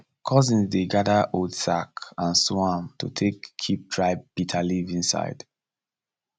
cousins dey gather old sack and sew am to take keep dry bitterleaf inside